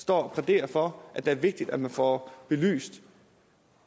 står og plæderer for at det er vigtigt at få belyst